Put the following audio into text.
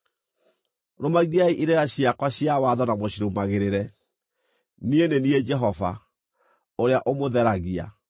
Rũmagiai irĩra ciakwa cia watho na mũcirũmagĩrĩre. Niĩ nĩ niĩ Jehova, ũrĩa ũmũtheragia.